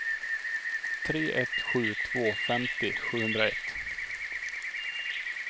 tre ett sju två femtio sjuhundraett